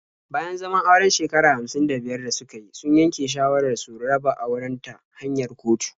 Bayan zaman auren shekara hamsin da biyar da suka yi, sun yanke shawarar su raba auren ta hanyar kotu.